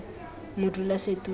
modulasetulo